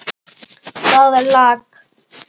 Það lak.